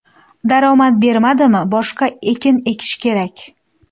Daromad bermadimi, boshqa ekin ekish kerak.